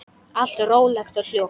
Allt rólegt og hljótt.